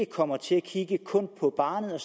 kommer til at kigge på barnet og